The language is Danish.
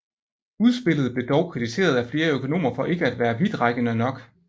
Udspillet blev dog kritiseret af flere økonomer for ikke at være vidtrækkende nok